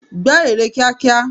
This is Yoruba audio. Gbẹ́ ère kíákíá!